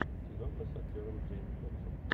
киноха с актером джейми фоксом